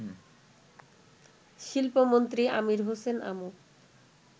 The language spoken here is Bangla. শিল্পমন্ত্রী আমির হোসেন আমু